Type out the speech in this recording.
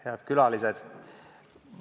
Head külalised!